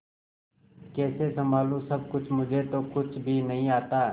कैसे संभालू सब कुछ मुझे तो कुछ भी नहीं आता